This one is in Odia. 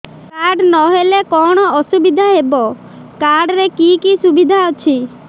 କାର୍ଡ ନହେଲେ କଣ ଅସୁବିଧା ହେବ କାର୍ଡ ରେ କି କି ସୁବିଧା ଅଛି